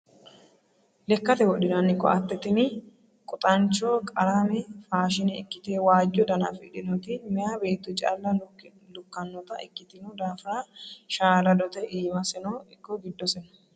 Lekkate wodhinanni koatte tinni quxancho qarame faashine ikkite waajo dana afidhinoti meya beetto calla lukkanotta ikkitino daafira shaaladote iimaseno ikko giddoseno.